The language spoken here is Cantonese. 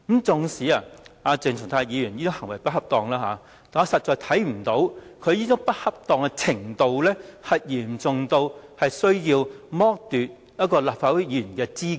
縱使鄭松泰議員的行為並不恰當，但我實在看不到他這種不恰當行為的程度，屬於嚴重至需要剝奪他的立法會議員資格。